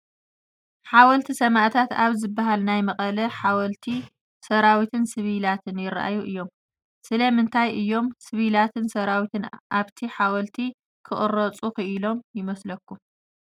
ሓወልቲ ሰማእታት ኣብ ዝበሃል ናይ መቐለ ሓወልቲ ሰራዊትን፣ ሲቪላት ይርኣዩ እዮም፡፡ ስለምንታይ እዩ ሲቪላትን ሰራዊትን ኣብቲ ሓወልቲ ክቕረፁ ኽኢሎም ይመስለኩም?